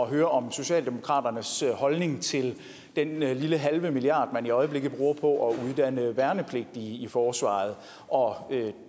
høre om socialdemokratiets holdning til den lille halve milliard kroner man i øjeblikket bruger på at uddanne værnepligtige i forsvaret og